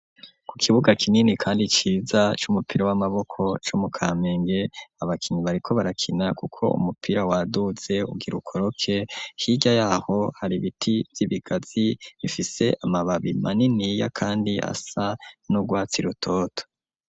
Ku kibuga kinini kandi ciza c'umupira w'amaboko co mu kamenge abakinyi bariko barakina kuko umupira waduze ugira ukoroke hirya yaho hari ibiti vy'ibigazi bifise amababi maniniya kandi asa n'urwatsi rutoto.